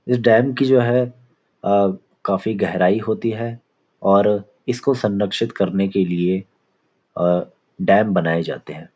इस डैम की जो है अ काफी गहराई होती है और इसको संरक्षित करने के लिए अ डैम बनाए जाते हैं।